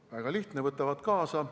Väga lihtne: võtavad kaasa.